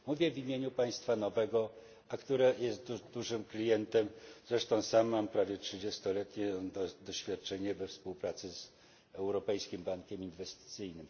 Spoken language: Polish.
Mówię w imieniu państwa nowego, a które jest dużym klientem, zresztą sam mam prawie trzydziestoletnie doświadczenie we współpracy z Europejskim Bankiem Inwestycyjnym.